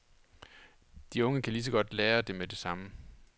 De unge kan lige så godt lære det med det samme.